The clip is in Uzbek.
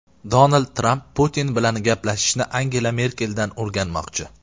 Donald Tramp Putin bilan gaplashishni Angela Merkeldan o‘rganmoqchi.